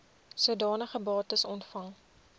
sodanige bates ontvang